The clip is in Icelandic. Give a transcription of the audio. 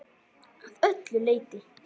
Að öllu leyti.